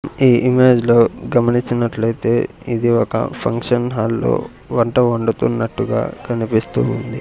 ఈ ఇమేజ్ లో గమనించినట్లయితే ఇది ఒక ఫంక్షన్ హాల్లో వంట వండుతున్నట్టుగా కనిపిస్తూ ఉంది.